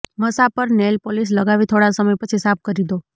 મસા પર nail polish લગાવી થોડા સમય પછી સાફ કરી દો